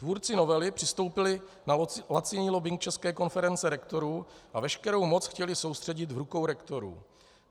Tvůrci novely přistoupili na laciný lobbing České konference rektorů a veškerou moc chtěli soustředit v rukou rektorů.